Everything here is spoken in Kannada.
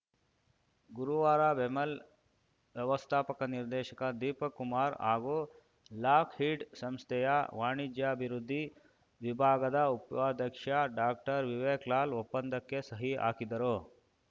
ಗುರುವಾರ ಬೆಮೆಲ್‌ ವ್ಯವಸ್ಥಾಪಕ ನಿರ್ದೇಶಕ ದೀಪಕ್‌ ಕುಮಾರ್‌ ಹಾಗೂ ಲಾಕ್‌ಹೀಡ್‌ ಸಂಸ್ಥೆಯ ವಾಣಿಜ್ಯಾಭಿವೃದ್ಧಿ ವಿಭಾಗದ ಉಪಾಧ್ಯಕ್ಷ ಡಾಕ್ಟರ್ವಿವೇಕ್‌ ಲಾಲ್‌ ಒಪ್ಪಂದಕ್ಕೆ ಸಹಿ ಹಾಕಿದರು